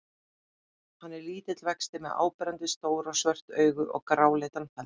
Hann er lítill vexti með áberandi stór og svört augu og gráleitan feld.